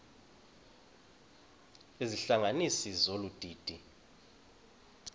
izihlanganisi zolu didi